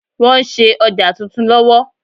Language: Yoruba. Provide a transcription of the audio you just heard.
Wọ́n ń ṣe ọjà titun lọ́wọ́.